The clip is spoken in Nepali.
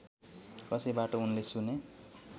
कसैबाट उनले सुने